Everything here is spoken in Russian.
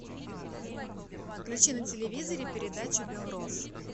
включи на телевизоре передачу белрос